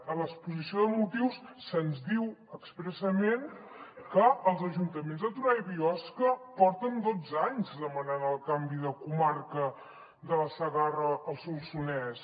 a l’exposició de motius se’ns diu expressament que els ajuntaments de torà i biosca porten dotze anys demanant el canvi de comarca de la segarra al solsonès